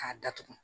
K'a datugu